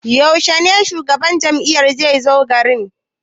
Yaushe shugaban jam'iyya zai zo gari?